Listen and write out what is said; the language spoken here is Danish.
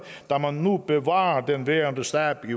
da man nu bevarer den værende stab i